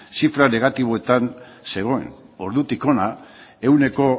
zifran negatiboetan zegoen ordutik hona ehuneko